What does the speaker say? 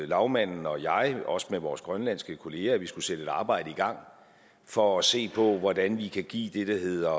lagmanden og jeg også med vores grønlandske kollegaer at vi skulle sætte et arbejde i gang for at se på hvordan vi kan give det der hedder